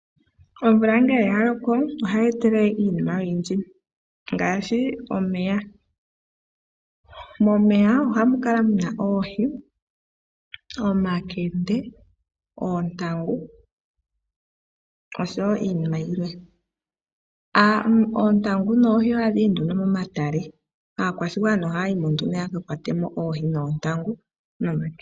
Omvula ngele yaloko ohayi etelele iinima oyindji ngaashi omeya. Momeya ohamu kala muna oohi, omankende, oontangu oshowo iinima yilwe. Oohi noontangu ohadhi yi nduno momatale aakwashigwana ohaya yimo nduno yaka kwatemo oohi noontangu nomankende.